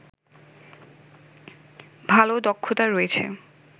ভালো দক্ষতা রয়েছে